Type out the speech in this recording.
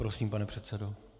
Prosím, pane předsedo.